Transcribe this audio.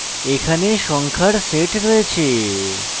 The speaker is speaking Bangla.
এখানে সংখ্যার set রয়েছে